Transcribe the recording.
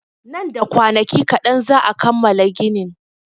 Nan da kwanaki kaɗan za'a kammala ginin.